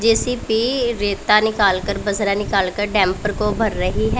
JCB रेता निकाल कर बजरा निकाल कर डेंपर को भर रही है।